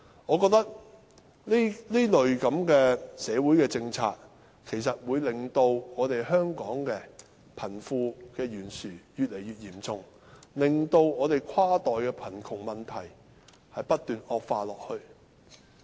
我認為，這類社會政策其實會令香港的貧富懸殊情況越來越嚴重，使跨代貧窮問題不斷惡化。